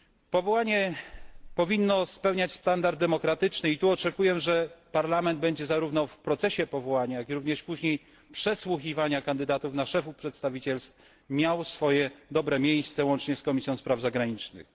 Powołanie powinno spełniać standard demokratyczny i tu oczekuję, że Parlament będzie zarówno w procesie powołania, jak i również później przesłuchiwania kandydatów na szefów przedstawicielstw miał swoje dobre miejsce, łącznie z Komisją Spraw Zagranicznych.